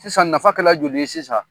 Sisan nafa kɛla joli ye sisan